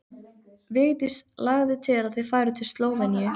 Vigdís lagði til að þau færu til Slóveníu.